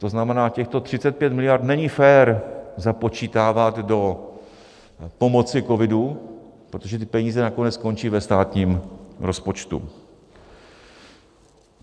To znamená, těchto 35 miliard není fér započítávat do pomoci covidu, protože ty peníze nakonec skončí ve státním rozpočtu.